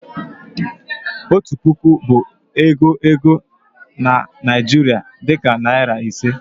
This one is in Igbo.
otu puku bụ ego ego na Nigeria, dị ka narị ise.